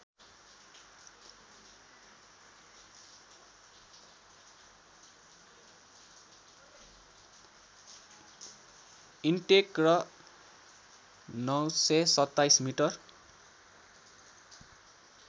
intake र ९२७ metre